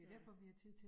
Ja